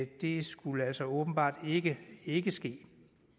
det skulle altså åbenbart ikke ikke ske